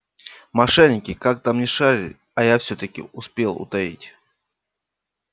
мошенники как там ни шарили а я всё-таки успел утаить